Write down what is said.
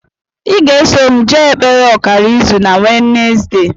I ga-eso m jee ekpere ọkara izu na wenezdee